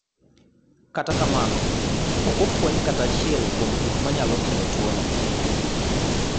Kata kamano, pok ofweny kata achiel kuom gik manyalo kelo tuwono.